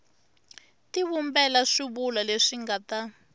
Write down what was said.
tivumbela swivulwa leswi nga ta